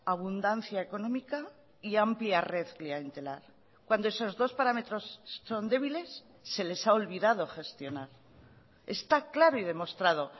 abundancia económica y amplia red clientelar cuando esos dos parámetros son débiles se les ha olvidado gestionar está claro y demostrado